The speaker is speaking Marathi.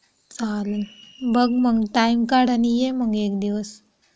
चालेल बघ मग टाईम काढ आणि ये मग एक दिवस.